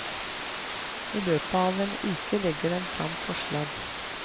I løpet av en uke legger den frem forslag.